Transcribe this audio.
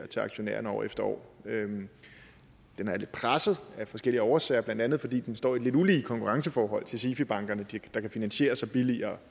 til aktionærerne år efter år den er lidt presset af forskellige årsager blandt andet fordi den står i et lidt ulige konkurrenceforhold til sifi bankerne der kan finansiere sig billigere